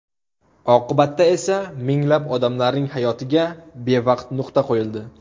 Oqibatda esa minglab odamlarning hayotiga bevaqt nuqta qo‘yildi.